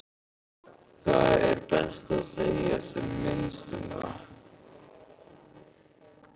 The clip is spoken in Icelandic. Það er best að segja sem minnst um það.